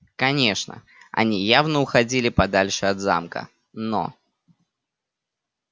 конечно они явно уходили подальше от замка но